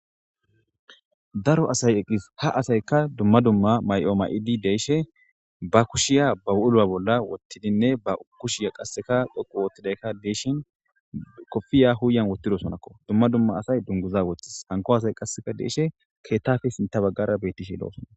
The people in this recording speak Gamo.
daro asay eqis ha asaykka dumma dumma may7o ma7idi de'ishe ba kushiya baw7ulo7a bolla wottidinne ba kushiya qasseka dhoqu woottidayka deeshin kofiya huuyan wottidosonakko dumma dumma asay dunguza woththis hanko asay qasseka deeshe keettafe sinta baggara bettishe lo7osona